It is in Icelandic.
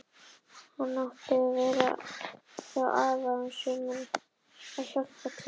Hann átti að vera hjá afa um sumarið að hjálpa til.